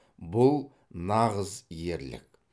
бұл нағыз ерлік